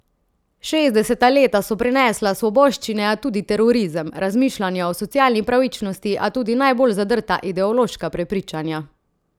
Šestdeseta leta so prinesla svoboščine, a tudi terorizem, razmišljanja o socialni pravičnosti, a tudi najbolj zadrta ideološka prepričanja.